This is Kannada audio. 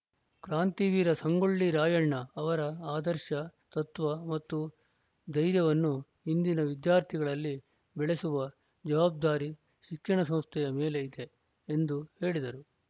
ಕ್ರಾಂತಿವೀರ ಸಂಗೊಳ್ಳಿ ರಾಯಣ್ಣ ಅವರ ಆದರ್ಶ ತತ್ವ ಮತ್ತು ಧೈರ್ಯವನ್ನು ಇಂದಿನ ವಿದ್ಯಾರ್ಥಿಗಳಲ್ಲಿ ಬೆಳೆಸುವ ಜವಾಬ್ದಾರಿ ಶಿಕ್ಷಣ ಸಂಸ್ಥೆಯ ಮೇಲೆ ಇದೆ ಎಂದು ಹೇಳಿದರು